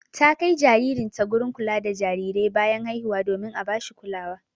Ta kai jikanta gurin kula da jarirai bayan haihuwa domin a bashi kulawa.